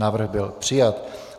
Návrh byl přijat.